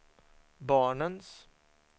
barnens